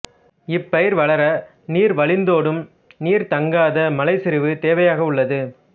இப்பயிர் வளர நீர்வழிந்தோடும் நீர்த்தங்காத மலைச் சரிவு தேவையாக உள்ளது